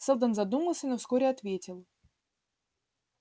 сэлдон задумался но вскоре ответил